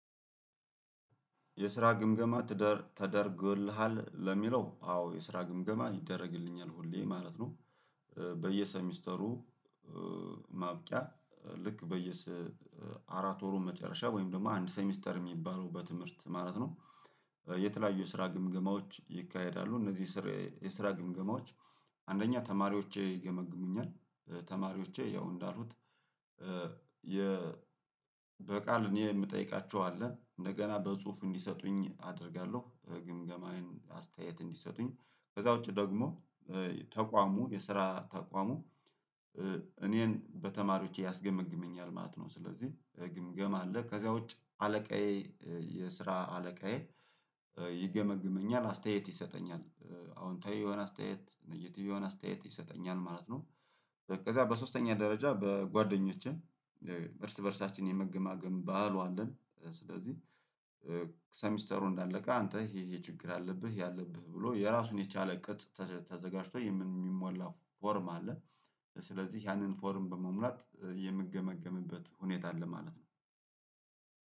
የስራ ግምገማ ትደ ተደርጎልሃል ለሚለው አዎ የስራ ግምገማ ይደረግልኛል ሁሌ ማለት ነው። በየሴ ሚስተሩ ማብቂያ ልክ በየስ አራት ወሩ መጨረሻ ወይም ደግሞ አንድ ሴሚስተር የሚባለው በትምህርት ማለት ነው። የተለያዩ የስራ ግምገማዎች ይካሄዳሉ እነዚህ ስርየ የስራ ግምገማዎች። አንደኛ ተማሪዎቼ ይገመግሙኛል ተማሪዎቼ ያው እንዳልኩት የ በቃል እኔ የምጠይቃቸው አለ እንደገና በጽሁፉ እንዲሰጡኝ አደርጋለሁ ግምገማዬን አስተያየት እንዲሰጡኝ ከዛ ውጪ ደግሞ ተቋሙ የስራ ተቋሙ እኔን በተማሪዎቼ ያስገመግመኛል ማለት ነው። ስለዚህ ግምገማ አለ ከዛ ውጭ አለቃዬ የስራ አለቃዬ ይገመግመኛል አስተያየት ይሰጠኛል አዎንታዊ የሆነ አስተያየት ኔጌቲቭ የሆነ አስተያየት ይሰጠኛል ማለት ነው። ከዚያ በሶስተኛ ደረጃ በጓደኞቼ እርስ በእርሳችን የመገማገም ባህሉ አለን ስለዚህ ሴሚስተሩ እንዳለቀ አንተ ይሄ ይሄ ችግር አለብህ ይሄ አለብህ ብሎ የራሱን የቻለ ቅጽ ተዘ ተዘጋጅቶ የሚም ሚሞላ ፎርም አለ። ስለዚህ ያንን ፎርም በመሙላት የምገመግምበት ሁኔታ አለ ማለት ነው።